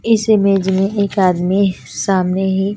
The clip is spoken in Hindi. इस बिजली एक आदमी है सामने ही--